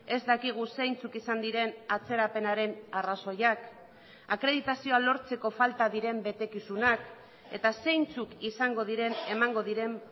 ez dakigu zeintzuk izan diren atzerapenaren arrazoiak akreditazioa lortzeko falta diren betekizunak eta zeintzuk izango diren emango diren